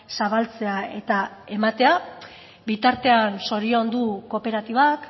zabaltzea eta ematea bitartean zoriondu kooperatibak